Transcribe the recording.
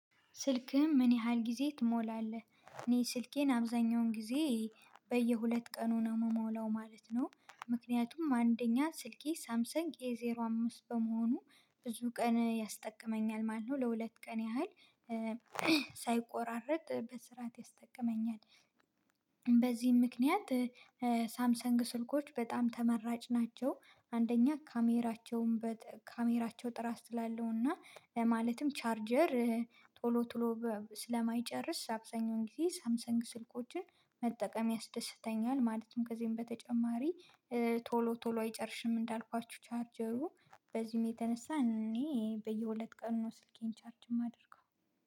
ስልክህን ምን ያህል ጊዜ ትሞላለህ? እኔ ስልኬን አብዛኛውን ጊዜ በየሁለት ቀኑ ነው የምሞላው ማለት ነው። ምክንያቱም አንደኛ ስልኬ ሳምሰንግ ኤ ዜሮ አምስት በመሆኑ ብዙ ቀን ያስጠቅመኛል ማለት ነው ለሁለት ቀን ያህል ሳይቆራረጥ በስርዓት ያስጠቅመኛል። በዚህም ምክንያት ሳምሰንግ ስልኮች በጣም ተመራጭ ናቸው። አንደኛ ካሜራቸውን ካሜራቸው ጥራጥ ስላለሁና ማለትም ቻርጀር ቶሎ ቶሎ ስለማይጨርስ አብዛኛውን ጊዜ ሳምሰንግ ስልኮችን መጠቀም ያስደስተኛል። ማለትም ከዚህም በተጨማሪ ቶሎ ቶሎ አይጨርሽም እንዳልኳችሁ ቻርጀሩ በዚህም የተነሳ እኔ በየሁለት ቀን ነው ስልኬን ቻርጅ የማደርገው።